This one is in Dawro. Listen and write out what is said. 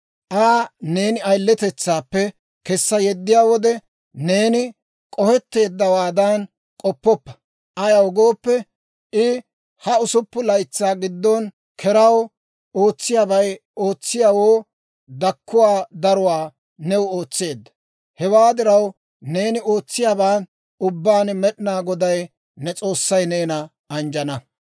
Aa neeni ayiletetsaappe kessa yeddiyaa wode, neeni k'ohetteeddawaadan k'oppoppa; ayaw gooppe, I ha usuppun laytsaa giddon keraw ootsiyaabay ootsiyaawoo dakkuwaa daruwaa new ootseedda. Hewaa diraw, neeni ootsiyaaban ubbaan Med'inaa Goday ne S'oossay neena anjjana.